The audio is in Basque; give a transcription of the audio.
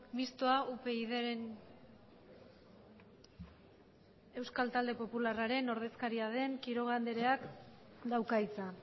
mistoa upydren euskal talde popularraren ordezkaria den quiroga andreak dauka hitza